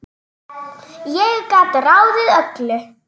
Ég gat ráðið öllu.